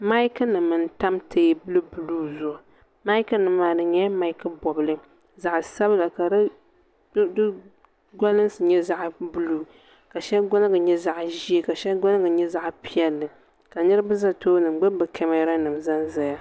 Mayikinima n-tam teebuli buluu zuɣu mayikinima maa di nyɛla mayiki bɔbili zaɣ'sabila ka di gɔlinsi nyɛ zaɣ'buluu ka shɛli gɔliŋgi nyɛ zaɣ'ʒee ka shɛli gɔliŋgi nyɛ zaɣ'piɛlli ka niriba za tooni n-gbubi kamaranima zanzaya.